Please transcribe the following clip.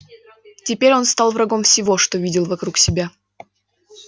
теперь он стал врагом всего что видел вокруг себя